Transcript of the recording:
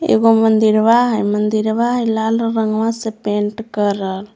एगो मंदिरवा ह मदिरवा लाल रंगवा पेंट करल।